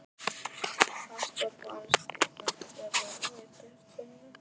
Hart var barist í öndverðu, og veitti hvorugum betur.